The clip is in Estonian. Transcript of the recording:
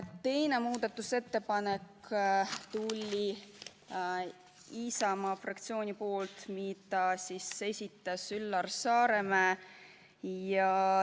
Teine muudatusettepanek tuli Isamaa fraktsioonilt, mille esitas Üllar Saaremäe.